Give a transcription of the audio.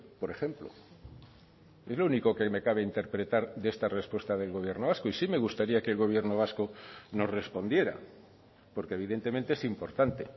por ejemplo es lo único que me cabe interpretar de esta respuesta del gobierno vasco y sí me gustaría que el gobierno vasco nos respondiera porque evidentemente es importante